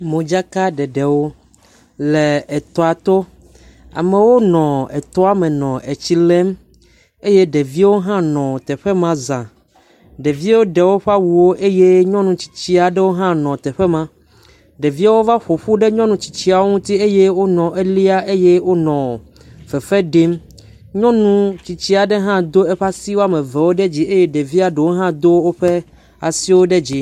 Modzakaɖeɖewo le etɔa to amewo nɔ etɔme nɔ etsi lem eye ɖeviawo hã ne teƒe ma za, ɖeviawo ɖe woƒe awuwo eye nyɔnumetsitsi aɖewo hã nɔ teƒ ma ɖeviawo va ƒoƒu ɖe nyɔnutsitsiwo ŋuti eye wonɔ elia eye wonɔ fefe ɖim nyɔnu tsitsia ɖe hã do eʋe asi ɖe dzi eye ɖeviawo hã do woƒe asiwo ɖe dzi.